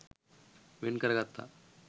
වෙන් කරගත්තා.